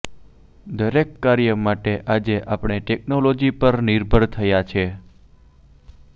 દરેક કાર્ય માટે આજે આપણે ટેકનોલોજી પર નિર્ભર થયા છે